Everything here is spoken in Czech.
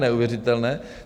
Neuvěřitelné.